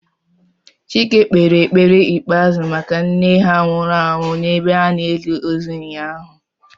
Chike kpere ekpere ikpeazu maka nne ha nwuru anwu n'ebe a na-eli ozu ụnyaahụ